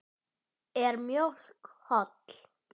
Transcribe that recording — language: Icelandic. Er mjólk holl?